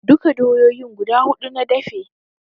Duka doyoyin guda huɗu na dafe